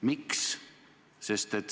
Miks?